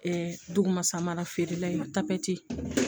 dugu ma samara feerela in ma